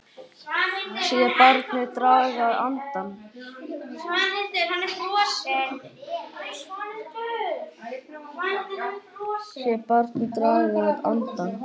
Sé barnið draga andann.